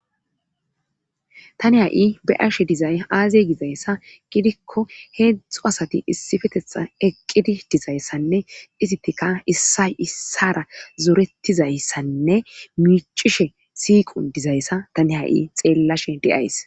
tani ha7i be arshe dizay aazey gizayssa gidikko heedzdxzu asati issifetetha eqqidi dizayssanne isittika issay issara zorettizayssanne miicishe siiqun dizayssa tani ha7i xeellashe deyays